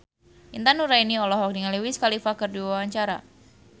Intan Nuraini olohok ningali Wiz Khalifa keur diwawancara